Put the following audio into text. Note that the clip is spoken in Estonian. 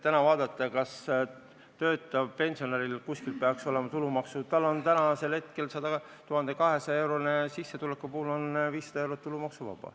Töötaval pensionäril on hetkel 1200-eurose sissetuleku puhul 500 eurot tulumaksuvaba.